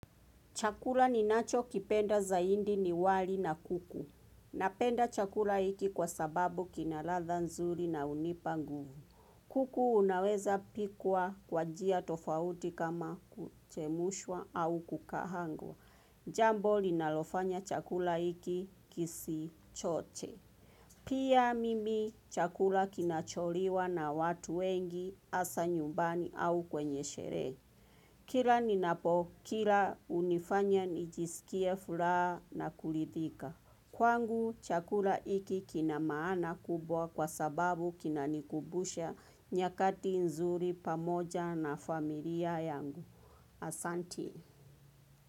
Chakula ninacho kipenda zaidi ni wali na kuku. Napenda chakula hiki kwa sababu kina ladha nzuri na hunipa nguvu. Kuku unaweza pikwa kwa njia tofauti kama kuchemushwa au kukaangwa. Jambo linalofanya chakula hiki kisi choche. Pia mimi chakula kinacholiwa na watu wengi hasa nyumbani au kwenye sherehe. Kira ninapo, kila hunifanya nijisikie furaha na kuridhika. Kwangu chakula hiki kina maana kubwa kwa sababu kinanikubusha nyakati nzuri pamoja na familia yangu. Asanti.